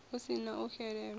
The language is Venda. hu si na u xelelwa